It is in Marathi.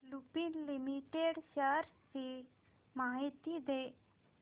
लुपिन लिमिटेड शेअर्स ची माहिती दे